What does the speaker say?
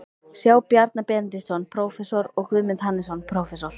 sjá Bjarna Benediktsson, prófessor, og Guðmund Hannesson, prófessor.